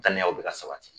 Daniyaw bɛ ka sabati